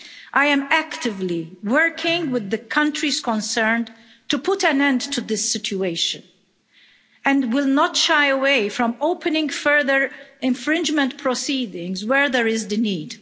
I am actively working with the countries concerned to put an end to this situation, and will not shy away from opening further infringement proceedings where there is the need.